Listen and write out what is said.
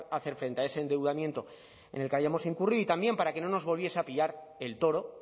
hacer frente a ese endeudamiento en el que hayamos incurrido y también para que no nos volviese a pillar el toro